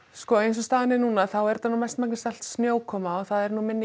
sko eins og staðan er þá er þetta mest snjókoma og þá er minni